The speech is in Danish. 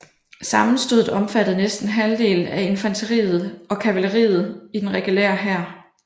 Sammenstødet omfattede næsten halvdelen af infanteriet og kavaleriet i den regulære hær